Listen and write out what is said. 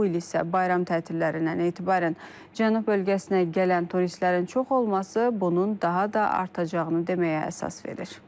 Bu il isə bayram tətilindən etibarən cənub bölgəsinə gələn turistlərin çox olması bunun daha da artacağını deməyə əsas verir.